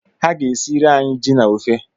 Ha ga-esiere anyị ji na ofe.